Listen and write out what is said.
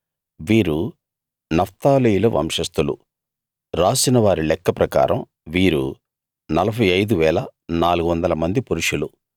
వీరు నఫ్తాలీయుల వంశస్థులు రాసిన వారి లెక్క ప్రకారం వీరు 45 400 మంది పురుషులు